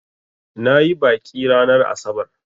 Na yi baƙi ranar asabar.